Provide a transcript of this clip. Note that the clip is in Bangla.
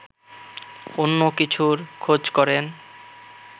অন্য কিছুর খোঁজ করেন